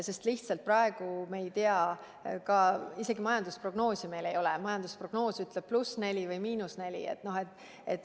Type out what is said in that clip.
Sest me lihtsalt praegu veel ei tea, isegi majandusprognoosi meil ei ole ja me ei tea, kas see ütleb +4% või –4%.